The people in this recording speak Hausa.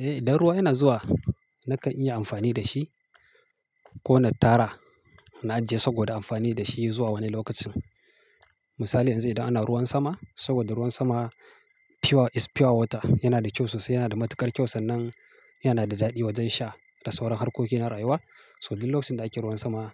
Eh, idan ruwa yana zuwa nakan iya amfani da shi ko na tara na ajiye saboda amfani da shi zuwa wani lokacin. Misali yanzu idan ana ruwan sama saboda ruwan sama pure is pure water yana da kyau sosai, yana da matuƙar kyau sannan yana da daɗi wajen sha da sauran harkoki na rayuwa. So duk lokacin da ake ruwan sama